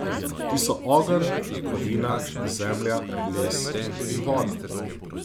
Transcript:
Ti so ogenj, kovina, zemlja, les in voda.